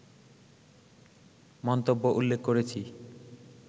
মন্তব্য উল্লেখ করেছি